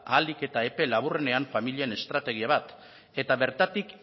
ahalik eta epe laburrenean familien estrategia bat eta bertatik